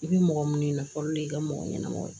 I bi mɔgɔ minnu ɲininka fɔlɔ de y'i ka mɔgɔ ɲɛnɛmaw ye